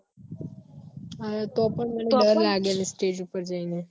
અરે તો પણ ડર મને ડર લાગે લી stage ઉપર જઈ ને